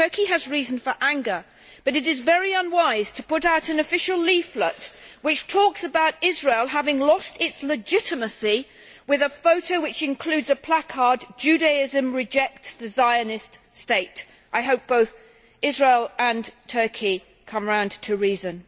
Turkey has reason for anger, but it is very unwise to put out an official leaflet which talks about Israel having lost its legitimacy with a photo which includes a placard Judaism rejects the Zionist state'. I hope both Israel and Turkey come round to reason.